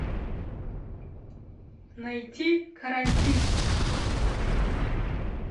найти карантин